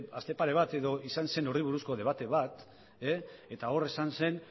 aste pare bat izan zen horri buruzko debate bat eta hor esan zen